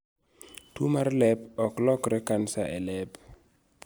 Tuo mar lep ok lokre kansa e lep